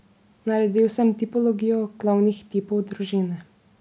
Naredil sem tipologijo glavnih tipov družine.